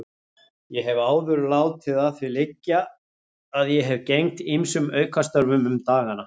Ég hef áður látið að því liggja að ég hafi gegnt ýmsum aukastörfum um dagana.